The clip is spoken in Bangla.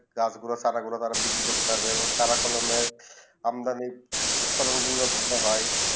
গাছ গুলু তারা বিক্রি করতে পারবে এবং তারা কলমে আমদানি উৎপাদন গুলু ভালো হয়ে